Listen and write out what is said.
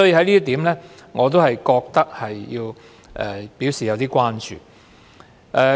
所以，我覺得要就這一點表示關注。